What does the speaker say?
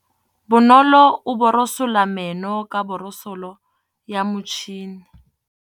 Bonolô o borosola meno ka borosolo ya motšhine.